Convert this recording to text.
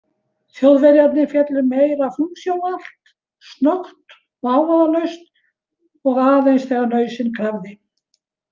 Þjóðverjarnir féllu meira funksjónalt, snöggt og hávaðalaust og aðeins þegar nauðsyn krafði.